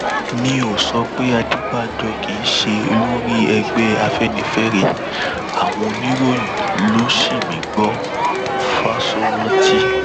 mi ò sọ pé adébànjọ kì í ṣe olórí ẹgbẹ afẹnifẹre àwọn oníròyìn ló sì mí gbọ fáṣọrántí